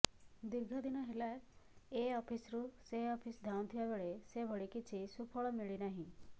ଦୀର୍ଘ ଦିନ ହେଲା ଏ ଅଫିସରୁ ସେ ଅଫିସ ଧାଉଁଥିବା ବେଳେ ସେଭଳି କିଛି ସୁଫଳ ମିଳିନାହିଁ